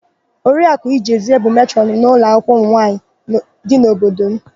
Oriaku Ijezie bụ matrọnụ n'ụlọakwụkwọ ụmụnwaanyị dị n'obodo m.